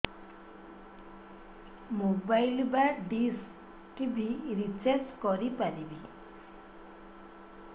mobile ବା dish TV recharge କରି ପାରିବି